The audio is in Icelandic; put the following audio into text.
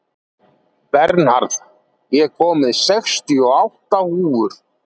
Bernharð, ég kom með sextíu og átta húfur!